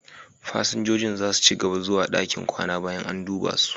Fasinjojin za su ci gaba zuwa ɗakin kwana bayan an duba su.